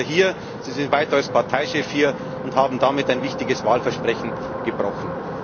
Sie sind weiter hier, Sie sind weiter als Parteichef hier und haben damit ein wichtiges Wahlversprechen gebrochen.